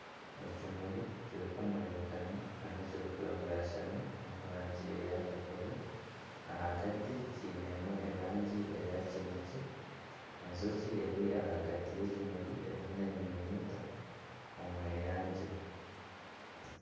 Ekimuri kirikumurinkana hariho n'ekirikwangashana omurangi eya kakobe ahagati kiinemu erangi eya kinekye. Enjoki eri ahagati y'ekimuri erimu nenyunyuuta omweyangye.